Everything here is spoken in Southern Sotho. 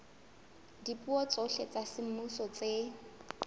dipuo tsohle tsa semmuso tse